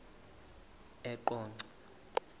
eqonco